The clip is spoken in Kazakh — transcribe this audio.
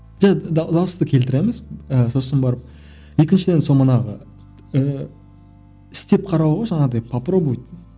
дауысты келтіреміз ыыы сосын барып екіншіден сол манағы ііі істеп қарау ғой жаңағыдай попробовать